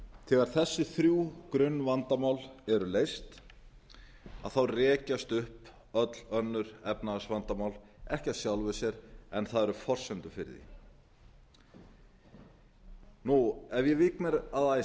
þegar þessi þrjú grunnvandamál eru leyst rekjast upp öll önnur efnahagsvandamál ekki af sjálfu sér en það eru forsendur fyrir því ef ég vík mér að